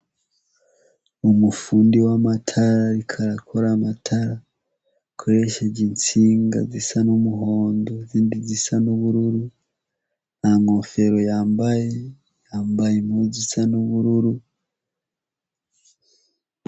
Umufundi w'amatara ariko arakora amatara akuresheje intsinga zisa n'umuhondo izindi zisa n'ubururu nta nkofero yambaye yambaye mpuzu zisa n'ubururu.